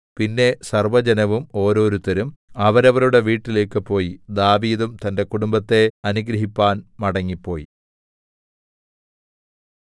പിന്നെ സർവ്വജനവും ഓരോരുത്തരും അവരവരുടെ വീട്ടിലേക്കു പോയി ദാവീദും തന്റെ കുടുംബത്തെ അനുഗ്രഹിപ്പാൻ മടങ്ങിപ്പോയി